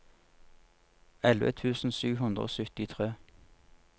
elleve tusen sju hundre og syttitre